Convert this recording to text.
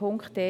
Punkt 1